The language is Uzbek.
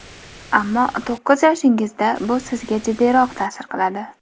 Ammo to‘qqiz yoshingizda, bu sizga jiddiyroq ta’sir qiladi.